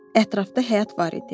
Ətrafda həyat var idi.